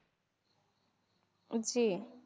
জি